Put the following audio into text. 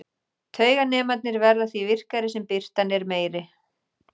Tauganemarnir verða því virkari sem birtan er meiri.